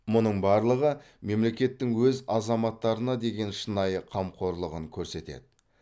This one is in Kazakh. мұның барлығы мемлекеттің өз азаматтарына деген шынайы қамқорлығын көрсетеді